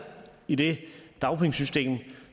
i det dagpengesystem